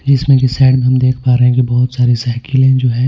जिसमें कि साइड में हम देख पा रहे हैं कि बहुत सारी साइकिलें जो है.